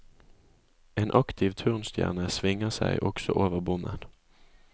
En aktiv turnstjerne svinger seg også over bommen.